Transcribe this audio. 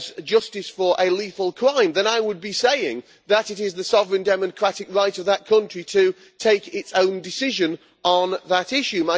justice for a lethal crime, then I would be saying that it is the sovereign democratic right of that country to take its own decision on that issue.